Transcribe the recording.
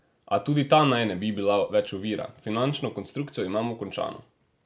A tudi ta naj ne bi bila več ovira: "Finančno konstrukcijo imamo končano.